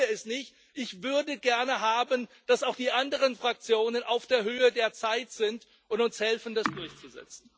Ich verstehe es nicht, ich würde gerne haben, dass auch die anderen Fraktionen auf der Höhe der Zeit sind und uns helfen, das durchzusetzen.